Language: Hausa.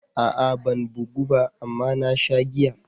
A'a ban bugu ba amma na sha giya.